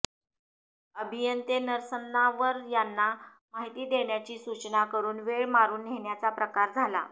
अभियंते नरसन्नावर यांना माहिती देण्याची सूचना करून वेळ मारून नेण्याचा प्रकार झाला